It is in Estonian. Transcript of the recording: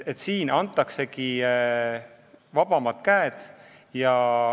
Nüüd antaksegi vabamad käed.